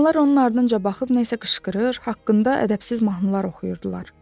İnsanlar onun ardınca baxıb nəsə qışqırır, haqqında ədəbsiz mahnılar oxuyurdular.